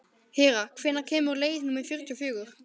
Hera, hvenær kemur leið númer fjörutíu og fjögur?